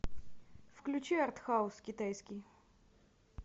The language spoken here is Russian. включи артхаус китайский